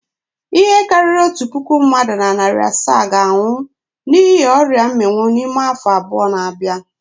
Ihe karịrị otu puku mmadụ na narị asaa ga-anwụ n'ihi ọria mminwu n'ime afọ abụọ na-abịa.